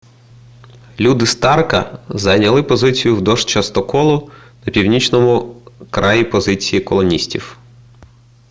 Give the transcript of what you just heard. люди старка зайняли позиції вздовж частоколу на північному краї позиції колоністів